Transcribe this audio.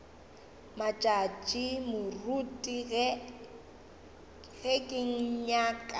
matšatši moruti ge ke nyaka